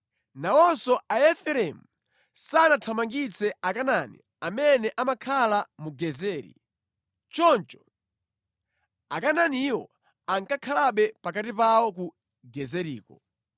Nawonso Aefereimu sanathamangitse Akanaani amene amakhala mu Gezeri, choncho Akanaaniwo ankakhalabe pakati pawo ku Gezeriko.